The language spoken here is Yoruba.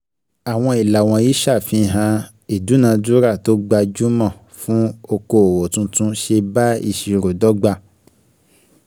Àwọn ìlà wọ̀nyí ṣe àfihàn ìdúnadúràá tó gbajúmọ̀ fún okoòwò tuntun ṣe bá ìṣirò dọ́gba.